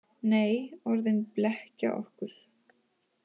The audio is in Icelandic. Nei, orðin blekkja okkur.